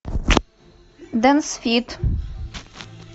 дэнс фит